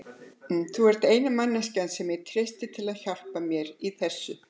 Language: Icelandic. Þú ert eina manneskjan sem ég treysti til að hjálpa mér til þess.